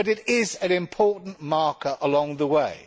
but it is an important marker along the way.